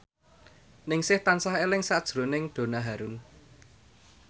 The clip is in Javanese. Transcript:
Ningsih tansah eling sakjroning Donna Harun